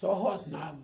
Só rosnava.